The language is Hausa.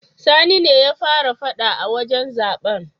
Sani ne ya fara fada a wajen zaben.